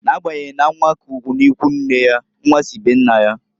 N'agbanyeghị na nwa k'ugwu n'ikwunne ya, nnwa si be nna ya.